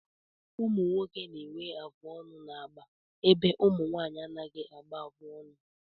Ụmụnwoke na-enwe afụ ọnụ n'agba ebe ụmụnwaanyị anaghị agba afụ ọnụ